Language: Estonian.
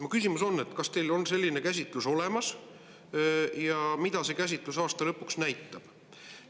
Mu küsimus on: kas teil on selline käsitlus olemas ja mida see käsitlus aasta lõpu kohta näitab?